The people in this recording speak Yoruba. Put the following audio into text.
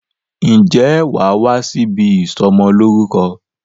Ǹjẹ́ wàá wá sí ibi ìsọmọ lórúkọ